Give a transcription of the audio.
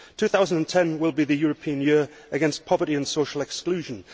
2010 will be the European Year against Poverty and Social Exclusion.